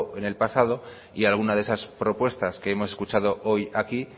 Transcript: en el pasado y alguna de esas propuestas que hemos escuchado hoy aquí